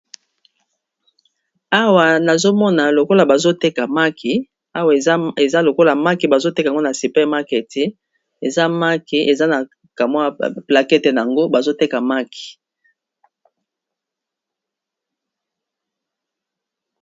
Awa nazomona lokola bazoteka maki awa eza lokola maki bazoteka ngo na super market eza maki eza na kamwa plaquette yango bazoteka maki.